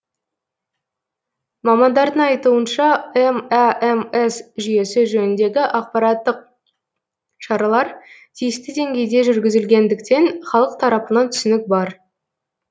мамандардың айтуынша мәмс жүйесі жөніндегі ақпараттық шаралар тиісті деңгейде жүргізілгендіктен халық тарапынан түсінік бар